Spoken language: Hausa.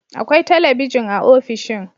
Akwai talabijin a ofishin